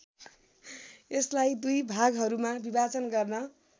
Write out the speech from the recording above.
यसलाई दुई भागहरूमा विभाजन गर्न